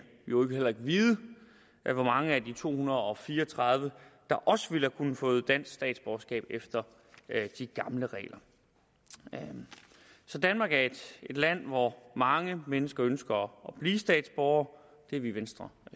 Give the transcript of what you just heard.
øvrigt heller ikke vide hvor mange af de to hundrede og fire og tredive der også ville have kunnet få dansk statsborgerskab efter de gamle regler så danmark er et land hvor mange mennesker ønsker at blive statsborgere det er vi i venstre